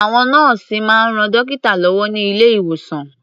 Àwọn nọ́ọ̀sì máa ń ran dọ́kítà lọ́wọ́ ní ilé-ìwòsàn.